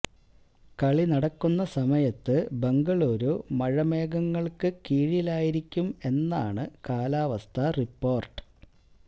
കളി നടക്കുന്ന സമയത്ത് ബംഗളൂരു മഴമേഘങ്ങള്ക്ക് കീഴിലായിരിക്കും എന്നാണ് കാലാവസ്ഥാ റിപ്പോര്ട്ട്